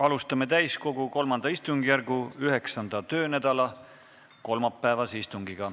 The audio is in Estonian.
Alustame täiskogu III istungjärgu 9. töönädala kolmapäevast istungit.